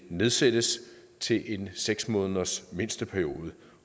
nedsættes til en seks måneders mindsteperiode